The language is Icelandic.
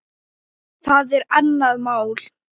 Það er annað mál.